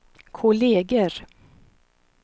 kolleger